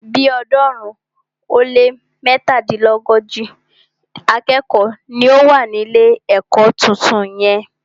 Bí ọ̀ọ́dúnrún ó lé mẹ́tàdínlógójì akẹ́kọ̀ọ́ ni ó wà ní ilé ẹ̀kọ́ tuntun yẹn.